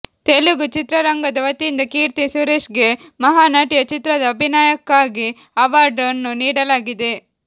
ತೆಲುಗು ಚಿತ್ರರಂಗದ ವತಿಯಿಂದ ಕೀರ್ತಿ ಸುರೇಶ್ ಗೆ ಮಹಾ ನಟಿಯ ಚಿತ್ರದ ಅಭಿನಯಕ್ಕಾಗಿ ಅವಾರ್ಡ್ ಅನ್ನು ನೀಡಲಾಗಿದೆ